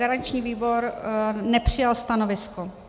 Garanční výbor nepřijal stanovisko.